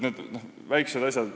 Need on väikesed asjad.